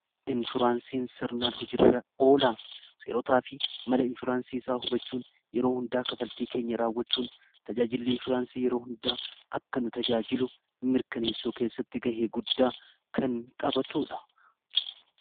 Inshuraansiin sirnaan hojirra oolaa seerotaa fi mala inshuraansii isaa hubachuun yeroo hundaa kafaltii keenya raawwachuun tajaajillii inshuraansii yeroo hundaa akka nu tajaajilu mirkaneessuu keessatti ga'e guddaa kan taphatuudha.